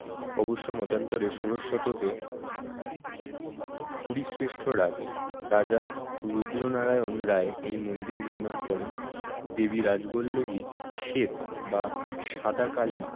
অবশ্য মতান্তরে ষোড়শ শতকে শ্রেষ্ঠ রাজ রাজা রুদ্র নারায়ণ রায় এই মন্দির নির্মাণ করেন দেবী রাজবল্লভী স্বেত বা সাদা কালী